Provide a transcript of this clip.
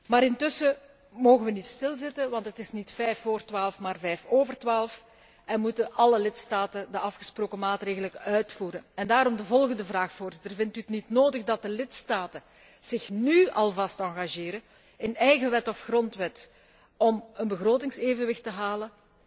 Maar intussen mogen we niet stilzitten, want het is niet vijf vóór twaalf, maar vijf over twaalf, en moeten alle lidstaten de afgesproken maatregelen uitvoeren. Daarom de volgende vraag vindt u het niet nodig dat de lidstaten zich nu alvast engageren in eigen wet of grondwet om een begrotingsevenwicht te halen?